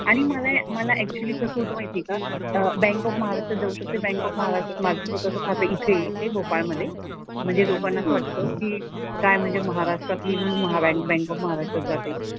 आणि मला मला ऍक्चुअली कसं होतं माहिती आहे का बँक ऑफ महाराष्ट्रात जाऊ शकते. बँक ऑफ महाराष्ट्रात माझं स्वतःचं खातं इथे इथे भोपाळ मधे. म्हणजे लोकांना असं वाटतं की काय म्हणजे महाराष्ट्रात येऊन बँक ऑफ महाराष्ट्रात जाते.